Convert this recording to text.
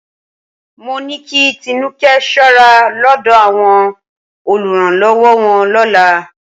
Mó ní kí Tinúkẹ́ ṣọ́ra lọ́dọ̀ àwọn olùrànlọ́wọ́ wọn lọ́la